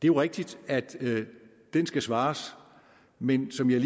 er rigtigt at den skal svares men som jeg